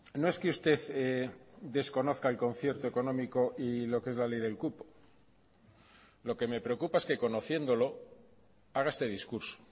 no es que usted desconozca el concierto económico y lo que es la ley del cupo lo que me preocupa es que conociéndolo haga este discurso